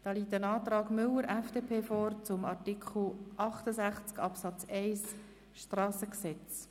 Es liegt ein Antrag von Grossrat Müller zu Artikel 68 Absatz 1 vor.